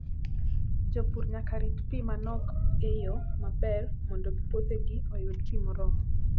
Jopur nyaka rit pi ma nok e yo maber mondo puothegi oyud pi moromo.